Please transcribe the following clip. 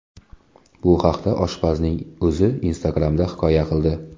Bu haqda oshpazning o‘zi Instagram’da hikoya qildi .